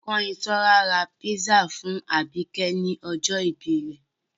Kányinsọ́lá ra písà fún àbìkẹ́ ní ọjọ́ ìbí rẹ̀.